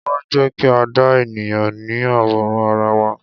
Wá, jẹ́ kí a dá ènìyàn ní àwòrán ara wa.